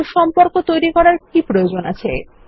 কিন্তু সম্পর্ক তৈরী করার কি প্রয়োজন আছে